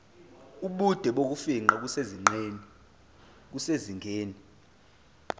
ubude bokufingqa kusezingeni